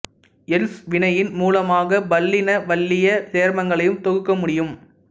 எல்ப்சு வினையின் மூலமாக பல்லின வளையச் சேர்மங்களையும் தொகுக்க முடியும்